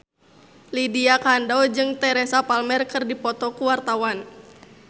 Lydia Kandou jeung Teresa Palmer keur dipoto ku wartawan